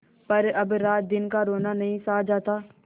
पर अब रातदिन का रोना नहीं सहा जाता